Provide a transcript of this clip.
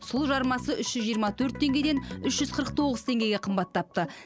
сұлы жармасы үш жүз жиырма төрт теңгеден үш жүз қырық тоғыз теңгеге қымбаттапты